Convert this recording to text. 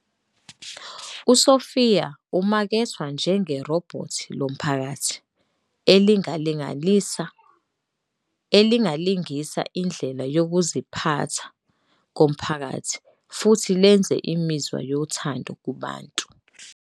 USophia umakethwa njenge "robhothi lomphakathi" elingalingisa indlela yokuziphatha komphakathi futhi lenze imizwa yothando kubantu.